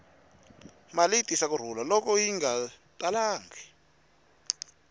mali yi tisa ku rhula loko yi nga talangi